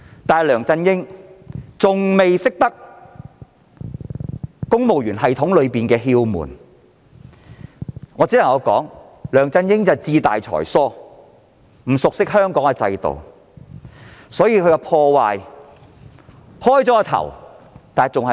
然而，梁振英不熟悉公務員系統的竅門，我只能說他志大才疏，不熟悉香港制度，所以即使打開了破壞之門，傷害還不算嚴重。